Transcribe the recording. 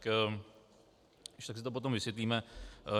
Když tak si to potom vysvětlíme.